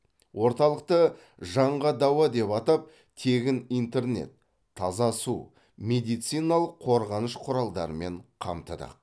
орталықты жанға дауа деп атап тегін интернет таза су медициналық қорғаныш құралдарымен қамтыдық